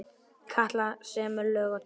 Katla semur lög og texta.